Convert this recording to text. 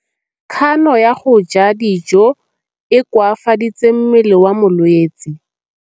Kganô ya go ja dijo e koafaditse mmele wa molwetse.